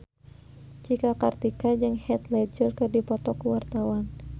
Cika Kartika jeung Heath Ledger keur dipoto ku wartawan